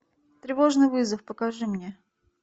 тревожный вызов покажи мне